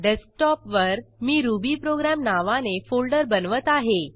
डेस्कटॉपवर मी रुबीप्रोग्राम नावाने फोल्डर बनवत आहे